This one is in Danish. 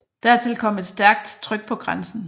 Dertil kom et stærkt tryk på grænsen